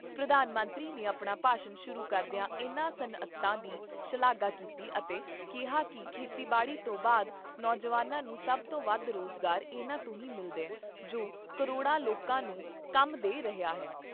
ਪ੍ਰਧਾਨ ਮੰਤਰੀ ਨੇ ਆਪਣਾ ਭਾਸ਼ਣ ਸ਼ੁਰੂ ਕਰਦਿਆਂ ਇਨ੍ਹਾਂ ਸੱਨਅਤਾਂ ਦੀ ਸ਼ਲਾਘਾ ਕੀਤੀ ਅਤੇ ਕਿਹਾ ਕਿ ਖੇਤੀਬਾੜੀ ਤੋਂ ਬਾਅਦ ਨੌਜਵਾਨਾਂ ਨੂੰ ਸਭ ਤੋਂ ਵੱਧ ਰੋਜ਼ਗਾਰ ਇਨ੍ਹਾਂ ਤੋਂ ਹੀ ਮਿਲਦਾ ਜੋ ਕਰੋੜਾਂ ਲੋਕਾਂ ਨੂੰ ਕੰਮ ਦੇ ਰਹੀਆਂ ਨੇ।